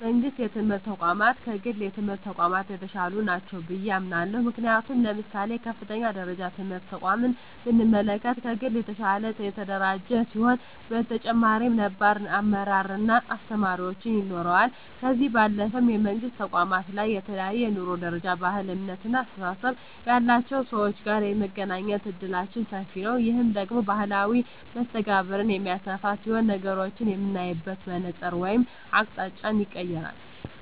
የመንግስት የትምህርት ተቋማት ከግል የትምህርት ተቋማት የተሻሉ ናቸው ብየ አምናለሁ። ምክንያቱም ለምሳሌ የከፍተኛ ደረጃ ትምህርት ተቋምን ብንመለከት ከግል የተሻለ የተደራጀ ሲሆን በተጨማሪም ነባር አመራር እና አስተማሪዎች ይኖረዋል። ከዚህ ባለፈም የመንግስት ተቋማት ላይ ከተለያየ የኑሮ ደረጃ፣ ባህል፣ እምነት እና አስተሳሰብ ያላቸው ሰወች ጋር የመገናኘት እድላችን ሰፊ ነዉ። ይህ ደግሞ ማህበራዊ መስተጋብርን የሚያሰፋ ሲሆን ነገሮችን የምናይበትን መነፀር ወይም አቅጣጫንም ይቀየራል።